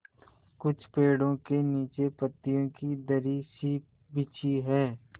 कुछ पेड़ो के नीचे पतियो की दरी सी बिछी है